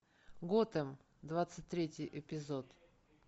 готэм двадцать третий эпизод